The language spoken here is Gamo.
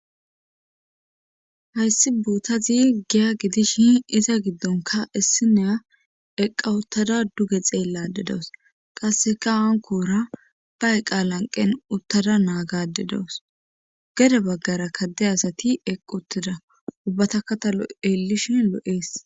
Hayssi bootazi giya gidishin iza giddonka issineya eqqa uttada duge xeellade dawus qasseka hankoora ba eqqa lanqen uttada naagade dawus gede baggara kadde asati eqq uttida ubbatakatalo elishin lo7ees.